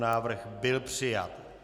Návrh byl přijat.